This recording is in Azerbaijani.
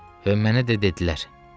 Və mənə də dedilər: